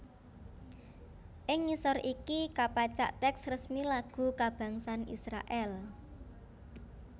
Ing ngisor iki kapacak tèks resmi lagu kabangsan Israèl